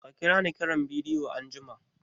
Ka kira ni kiran bidiyo anjima!